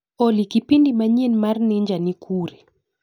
Olly kipindi manyien mar ninja ni kure?